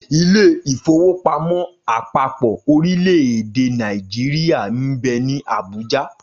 Ilé-ìfowópamó àpapò orílẹ̀-èdè Nàìjíríà nbẹ ní Àbújá.